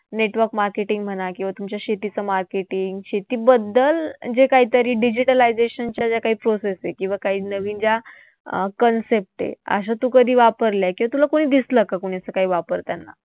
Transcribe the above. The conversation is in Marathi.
Network marketing म्हणा किंवा तुमच्या शेतीचं marketing शेतीबद्दल जे काहीतरी digitalization च्या ज्या काही process आहेत किंवा काही नवीन ज्या अं concept आहेत अशा तू कधी वापरल्या किंवा तुला कोणी दिसलं का कोणी असं काही वापरताना?